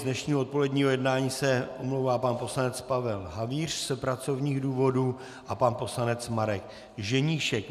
Z dnešního odpoledního jednání se omlouvá pan poslanec Pavel Havíř z pracovních důvodů a pan poslanec Marek Ženíšek.